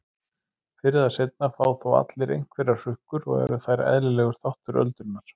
Fyrr eða seinna fá þó allir einhverjar hrukkur og eru þær eðlilegur þáttur öldrunar.